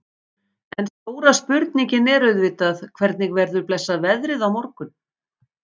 En stóra spurningin er auðvitað hvernig verður blessað veðrið á morgun?